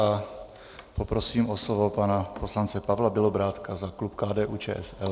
A poprosím o slovo pana poslance Pavla Bělobrádka za klub KDU-ČSL.